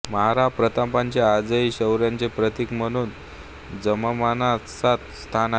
महाराणा प्रतापचे आजही शौर्याचे प्रतीक म्हणून जनमानसात स्थान आहे